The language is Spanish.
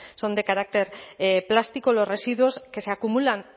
son de carácter plástico los residuos que se acumulan